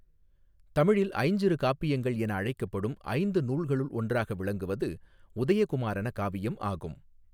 தமிழில் ஐஞ்சிறு காப்பியங்கள் என அழைக்கப்படும் ஐந்து நூல்களுள் ஒன்றாக விளங்குவது உதய குமாரன காவியம் ஆகும்.